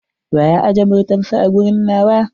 Wa ya ajje motatns a a gurin nawa?